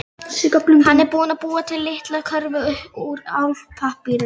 Hann er búinn að búa til litla körfu úr álpappírnum.